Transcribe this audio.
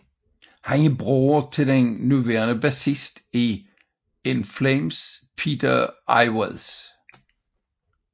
Han er bror til den nuværende bassist i In Flames Peter Iwers